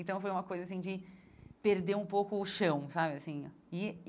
Então, foi uma coisa assim de perder um pouco o chão, sabe? Assim